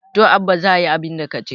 to Abba za a yi abinda ka ce